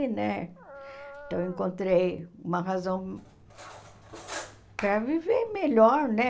né? Então, eu encontrei uma razão para viver melhor, né?